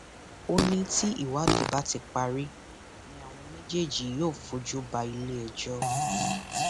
ó ní tí ìwádìí bá ti parí ni àwọn méjèèjì yóò fojú ba iléẹjọ